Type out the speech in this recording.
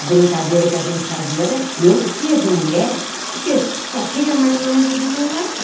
A brincadeira que a gente fazia era, eu fazia de moleque, porque só tinha marmanjo do meu lado.